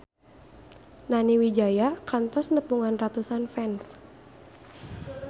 Nani Wijaya kantos nepungan ratusan fans